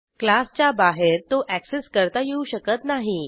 क्लासच्या बाहेर तो अॅक्सेस करता येऊ शकत नाही